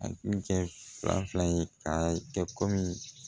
A kun tɛ fila fila ye k'a kɛ komi